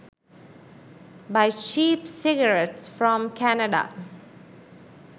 buy cheap cigarettes from canada